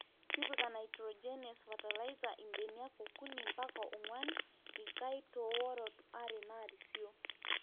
tipika nitogenous fertilizer ilbeniak okuni mpaka oonguan/ikai too worot are naarisio